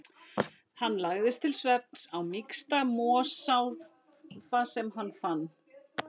Hann lagðist til svefns á mýksta mosafláka sem hann fann.